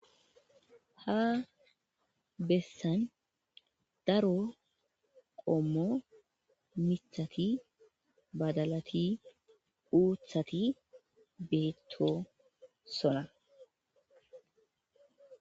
Ha bessan daro qommo mithati badalati uuthati beetto sona.